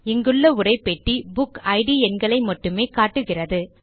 இங்குள்ள உரைப்பெட்டி புக்கிட் எண்களை மட்டுமே காட்டுகிறது